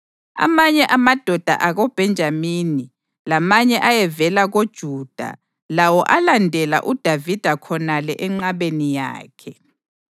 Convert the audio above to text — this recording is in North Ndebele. Amanye amadoda akoBhenjamini lamanye ayevela koJuda lawo alandela uDavida khonale enqabeni yakhe.